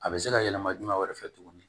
A bɛ se ka yɛlɛma jumɛn fɛ tuguni